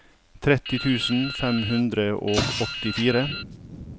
tretti tusen fem hundre og åttifire